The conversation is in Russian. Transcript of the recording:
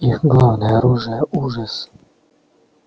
их главное оружие ужас